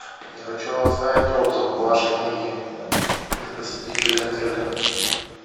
я хочу оставить отзыв в вашей книге для посетителей отеля